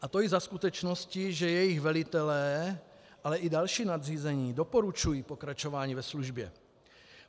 A to i za skutečnosti, že jejich velitelé, ale i další nadřízení doporučují pokračování ve službě.